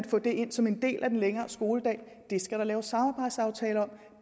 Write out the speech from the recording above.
få det ind som en del af den længere skoledag det skal der laves samarbejdsaftaler om